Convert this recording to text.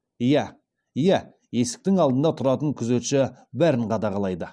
иә иә есіктің алдында тұратын күзетші бәрін қадағалайды